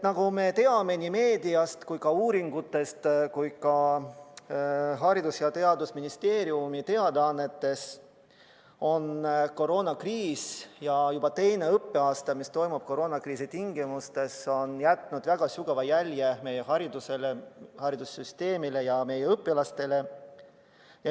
Nagu me teame meediast, uuringutest ja ka Haridus- ja Teadusministeeriumi teadaannetest, on juba teine õppeaasta, mis kulgeb koroonakriisi tingimustes, jätnud väga sügava jälje meie haridusele, haridussüsteemile ja õpilastele.